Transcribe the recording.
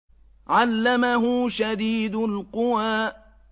عَلَّمَهُ شَدِيدُ الْقُوَىٰ